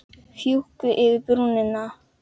Fjúki yfir brúna.